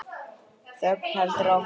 Þögnin heldur áfram.